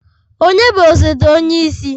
Ònye bụ osote onye isi?